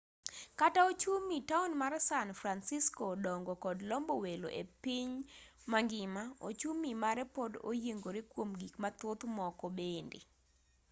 kata ochumi taon mar san francisco dongo kod lombo welo epiny mangima ochumi mare pod oyiengore kuom gik mathoth moko bende